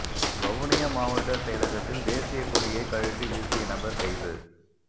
வவுனியா மாவட்ட செயலகத்தில் தேசியக் கொடியை கழற்றி வீசிய நபர் கைது